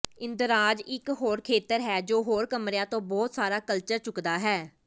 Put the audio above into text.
ਇੰਦਰਾਜ਼ ਇਕ ਹੋਰ ਖੇਤਰ ਹੈ ਜੋ ਹੋਰ ਕਮਰਿਆਂ ਤੋਂ ਬਹੁਤ ਸਾਰਾ ਕਲਚਰ ਚੁੱਕਦਾ ਹੈ